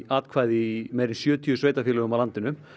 atkvæði í meira en sjötíu sveitarfélögum á landinu